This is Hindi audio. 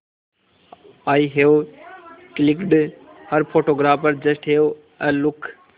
I have clicked her photographer just have a look